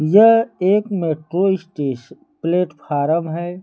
यह एक metro station platform है।